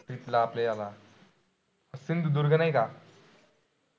Trip ला आपल्या ह्याला सिंधुदुर्ग नाही का?